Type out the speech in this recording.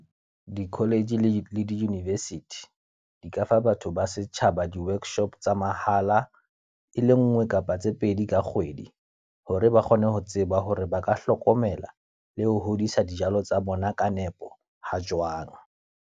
Di-college le di-university, di ka fa batho ba setjhaba di-workshop tsa mahala. E le nngwe kapa tse pedi ka kgwedi. Hore ba kgone ho tseba hore ba ka hlokomela le ho hodisa dijalo tsa bona ka nepo, ha jwang.